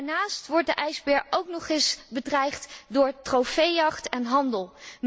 Daarnaast wordt de ijsbeer ook nog eens bedreigd door trofeejacht en handel.